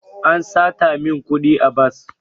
An sata min kudi a bas.